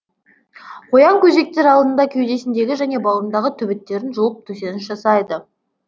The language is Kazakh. қоян көжектер алдында кеудесіндегі және бауырындағы түбіттерін жұлып төсеніш жасайды